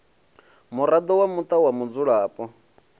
muraḓo wa muṱa wa mudzulapo